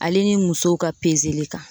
Ale ni musow ka kan.